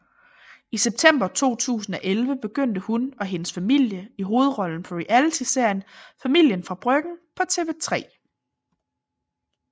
I september 2011 begyndte hun og hendes familie i hovedrollen på realityserien Familien fra Bryggen på TV3